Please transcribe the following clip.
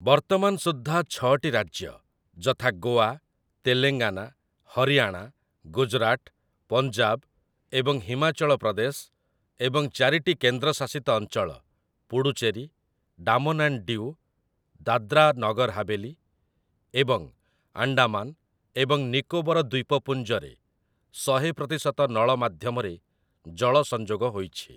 ବର୍ତ୍ତମାନ ସୁଦ୍ଧା ଛଅଟି ରାଜ୍ୟ, ଯଥା ଗୋଆ, ତେଲେଙ୍ଗାନା, ହରିୟାଣା, ଗୁଜରାଟ, ପଞ୍ଜାବ ଏବଂ ହିମାଚଳ ପ୍ରଦେଶ ଏବଂ ଚାରିଟି କେନ୍ଦ୍ରଶାସିତ ଅଞ୍ଚଳ ପୁଡୁଚେରୀ, ଡାମନ୍ ଆଣ୍ଡ ଡିୟୁ, ଦାଦ୍ରା ନଗର ହାବେଲି ଏବଂ ଆଣ୍ଡାମାନ ଏବଂ ନିକୋବର ଦ୍ୱୀପପୁଞ୍ଜରେ ଶହେ ପ୍ରତିଶତ ନଳ ମାଧ୍ୟମରେ ଜଳ ସଂଯୋଗ ହୋଇଛି ।